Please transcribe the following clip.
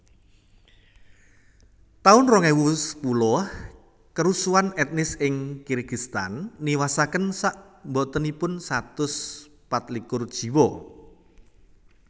taun rong ewu sepuluh Karusuhan etnis ing Kirgistan niwasaken sakbotenipun satus pat likur jiwa